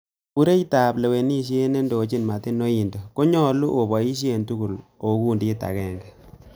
Kobureitab lewenisiet nendochin Martin Oindo, konyolu oboishe tugul ko okundit agenge.